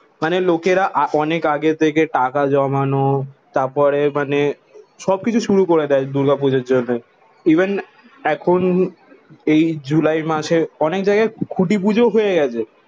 মানে লোকেরা আ অনেক আগে থেকে টাকা জমানো তারপরে মানে সবকিছু শুরু করে দেয় দূর্গা পূজার জন্যে। ইভেন এখন এই জুলাই মাসে অনেক জায়গায় খুঁটি পুজো হয়ে গেছে।